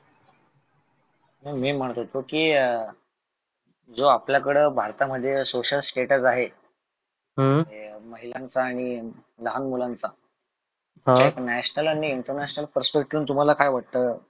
ते मी म्हणत होतो कि अं जो आपल्यकड भारतामध्ये social status आहे, महिलांचा आनी लहान मुलांचा. एक National आनी international तुम्हाला काय वाटते?